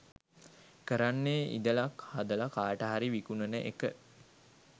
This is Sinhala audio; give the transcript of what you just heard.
කරන්නෙ ඉදලක් හදල කාටහරි විකුණන එක